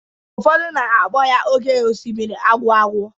Ụfọdụ na-akpọ ya oké osimiri agwụ agwụ.